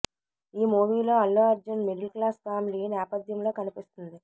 ఈ మూవీలో Allu Arjun middle class family నేపధ్యంలో కనిపిస్తుంది